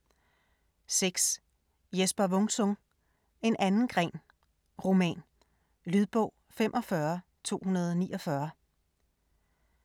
6. Wung-Sung, Jesper: En anden gren: roman Lydbog 45249